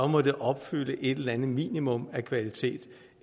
må de opfylde et eller andet minimum af kvalitet